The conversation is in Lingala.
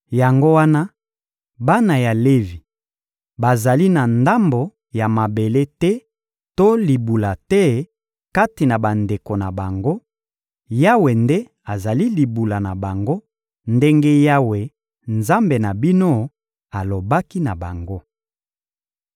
Yango wana, bana ya Levi bazali na ndambo ya mabele te to libula te kati na bandeko na bango: Yawe nde azali libula na bango, ndenge Yawe, Nzambe na bino, alobaki na bango.